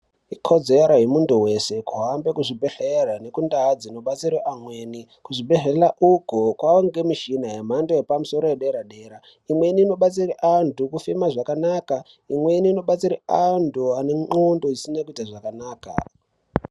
Ikodzero yemuntu weshe kuhambe kuzvibhehleya nekundau dzinobatsire amweni , kuzvibhehleya uku kwava ngemishina yemhando yepamusoro yederadera imweni inobatsira antu kufema zvakanaka imweni inobatsire antu ane xlondo dzisina kuite zvakanaka.